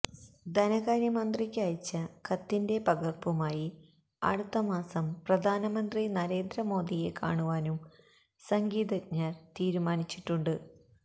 ധനകാര്യമന്ത്രിക്ക് അയച്ച കത്തിന്റെ പകര്പ്പുമായി അടുത്തമാസം പ്രധാനമന്ത്രി നരേന്ദ്ര മോദിയെ കാണുവാനും സംഗീതജ്ഞര് തീരുമാനിച്ചിട്ടുണ്ട്